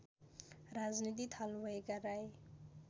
राजनीति थाल्नुभएका राई